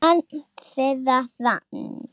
Barn þeirra: Hrafn.